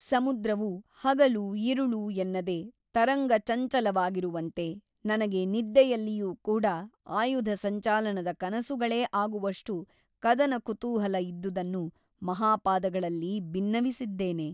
ಸಮುದ್ರವು ಹಗಲು ಇರುಳು ಎನ್ನದೆ ತರಂಗ ಚಂಚಲವಾಗಿರುವಂತೆ ನನಗೆ ನಿದ್ದೆಯಲ್ಲಿಯೂ ಕೂಡ ಆಯುಧ ಸಂಚಾಲನದ ಕನಸುಗಳೇ ಆಗುವಷ್ಟು ಕದನ ಕುತೂಹಲ ಇದ್ದುದನ್ನು ಮಹಾಪಾದಗಳಲ್ಲಿ ಬಿನ್ನವಿಸಿದ್ದೇನೆ.